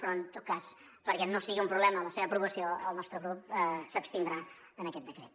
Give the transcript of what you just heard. però en tot cas perquè no sigui un problema la seva aprovació el nostre grup s’abstindrà en aquest decret